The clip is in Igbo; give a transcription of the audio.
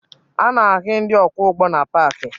A na-ahụ ndị ọkwọụgbọ na paakị